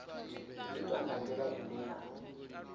itwa nga ndila ine ya